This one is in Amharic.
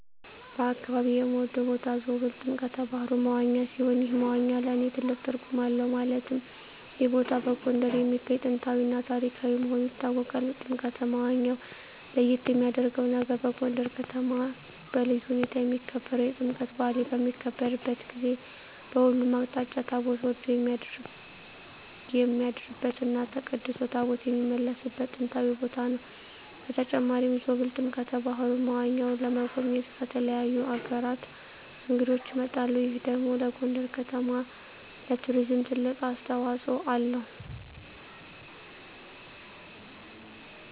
በአካባቢየ የምወደው ቦታ ዞብል ጥምቀተ ባህሩ (መዋኛ) ሲሆን ይህ መዋኛ ለእኔ ትልቅ ትርጉም አለው ማለትም ይህ ቦታ በጎንደር የሚገኝ ጥንታዊ እና ታሪካዊ መሆኑ ይታወቃል። ጥምቀተ መዋኛው ለየት የሚያረገው ነገር በጎንደር ከተማ በልዩ ሁኔታ የሚከበረው የጥምቀት በአል በሚከበርበት ጊዜ በሁሉም አቅጣጫ ታቦት ወርዶ የሚያድርበት እና ተቀድሶ ታቦታት የሚመለስበት ጥንታዊ ቦታ ነው። በተጨማሪም ዞብል ጥምቀተ በሀሩ (መዋኛው) ለመጎብኘት ከተለያዩ አገራት እንግዶች ይመጣሉ ይህ ደግሞ ለጎንደር ከተማ ለቱሪዝም ትልቅ አስተዋጽኦ አለው።